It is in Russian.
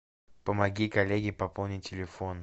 помоги коллеге пополнить телефон